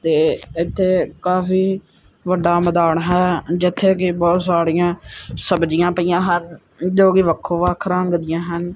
ਤੇ ਇਥੇ ਕਾਫੀ ਵੱਡਾ ਮੈਦਾਨ ਹੈ ਜਿੱਥੇ ਕਿ ਬਹੁਤ ਸਾੜੀਆਂ ਸਬਜ਼ੀਆਂ ਪਈਆਂ ਹਨ ਜੋ ਕਿ ਵੱਖੋ ਵੱਖ ਰੰਗ ਦੀਆਂ ਹਨ।